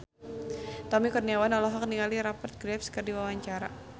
Tommy Kurniawan olohok ningali Rupert Graves keur diwawancara